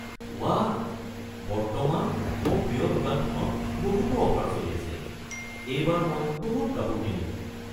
ৱাহ! বৰ্তমান মোৰ প্ৰিয় দোকানখনত বহুতো অফাৰ চলি আছে। এইবাৰ মই বহুত কাপোৰ কিনিম।